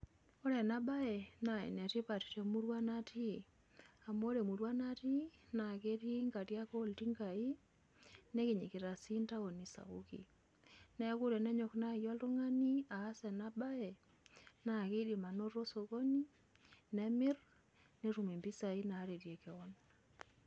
Ore ena bae naa enetipat temurua naati, amu ore emurua naati na ketii nkariak oltinkai nikinyikita sii ntaoni sapuki. Neeku tenenyok naji oltung'ani aas ena bae na kidim anoto sokoni nemir netum impisai naretei keon.